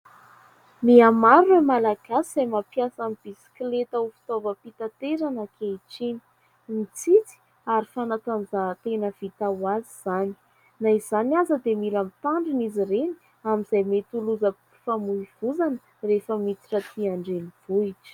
mihamaro ireo malagasy izay mampiasa ny bisikileta ho fitaovam-pitaterana ankehitriny .Mitsitsy ary fanatanjahan, tena vita ho azy izany na izany aza dia mila mitandrina izy ireny amin'izay mety ho lozam-pifamoivozana rehefa miditra atỳ andrenivohitra